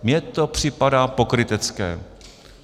Mně to připadá pokrytecké.